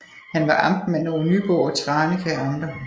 Han var amtmand over Nyborg og Tranekær Amter